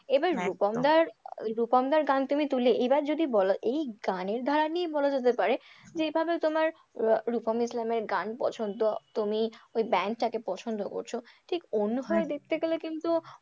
এবার রুপম দার রুপম দার গান তুমি তুললে এইবার যদি বল এই গানের ধারা নিয়ে বলা যেতে পারে যেভাবে তোমার রুপম ইসলামের গান পছন্দ তুমি ওই band টাকে পছন্দ করছ ঠিক অন্যভাবে দেখতে গেলে কিন্তু,